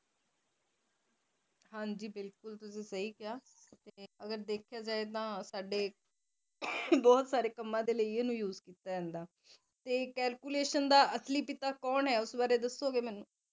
ਅਗਰ ਦਾਖ੍ਯਾ ਜੇ ਤਾ ਸਾਡੀ ਬਹੁਤ ਸਾਰੇ ਕੰਮਾਂ ਦੇ ਲਈ ਇਸਨੂੰ use ਕੀਤਾ ਜਾਂਦਾ calculations ਅਸਲੀ ਪਿਤਾ ਕੋਣ ਹੈ ਉਸ ਵਾਰੇ ਦੱਸੋਗੇ ਮੈਨੂੰ